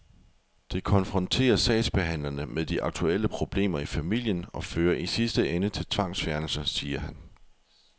Det konfronterer sagsbehandlerne med de aktuelle problemer i familien og fører i sidste ende til tvangsfjernelse, siger han.